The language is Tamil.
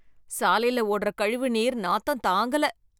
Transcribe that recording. சாலையில ஓடுற கழிவு நீர், நாத்தம் தங்கல.